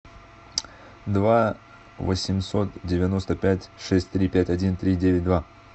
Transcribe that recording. два восемьсот девяносто пять шесть три пять один три девять два